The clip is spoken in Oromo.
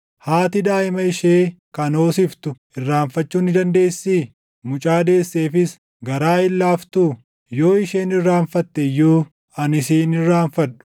“Haati daaʼima ishee kan hoosiftu irraanfachuu ni dandeessii? Mucaa deesseefis garaa hin laaftuu? Yoo isheen irraanfatte iyyuu ani si hin irraanfadhu!